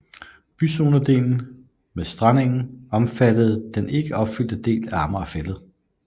Byzonedelen med strandengen omfattede den ikke opfyldte del af Amager Fælled